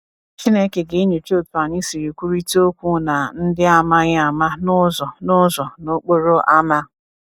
Chineke ga-enyocha otu anyị siri kwurịta okwu na ndị a maghị ama n’ụzọ n’ụzọ n’okporo ámá.